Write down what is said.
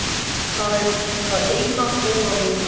Það er það eina góða við hana.